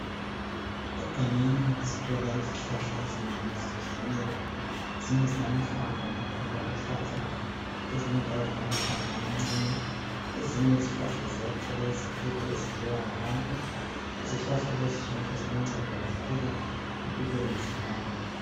Egangeni sithola izihlahla ezinengi ezitshiyeneyo ezinye zilamahlamvu amakhulu ezinye njalo zilamahlamvu amancane ezinye njalo ziyathela izithelo ezidliwa ngabantu izihlahla lezi zonke ziluncedo kakhulu empilweni zabantu.